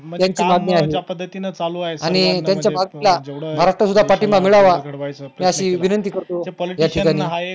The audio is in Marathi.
त्यांची मागणी आहे आणि त्यांच्या मागणीला महाराष्ट्रात सुद्धा पाठिंबा मिळावा अशी विंनती करतो याची त्यांनी